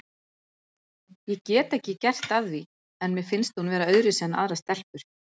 Ég get ekki gert að því en mér finnst hún vera öðruvísi en aðrar stelpur.